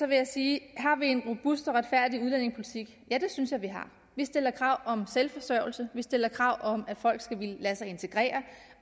vil jeg sige har vi en robust og retfærdig udlændingepolitik ja det synes jeg vi har vi stiller krav om selvforsørgelse vi stiller krav om at folk skal ville lade sig integrere